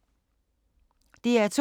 DR2